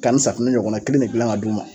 Ka nin safinɛ ɲɔgɔnna kelen de dilan ka di u ma.